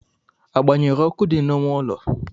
A gban̄yere ọkụ dị na-ịme ụlo?